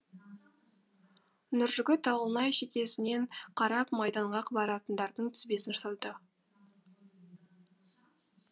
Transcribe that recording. нұржігіт ауылнай шекесінен қарап майданға баратындардың тізбесін жасады